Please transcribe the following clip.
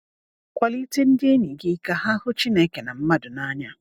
Kwalite ndị enyi gị ka ha hụ Chineke na mmadụ n’anya.